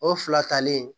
O fila talen